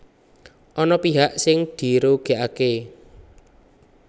Ana pihak sing dirugèkaké